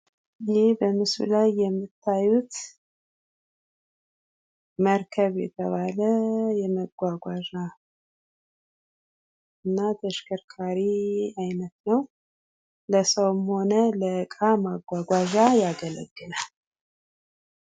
ይህ በምስሉ ላይ የምታዩት መርከብ የተባለ የመጓጓዣ እና ተሽከርካሪ አይነት ነው ለሰውም ሆነ ለእቃ ማጓጓዣ ያገለግላል ።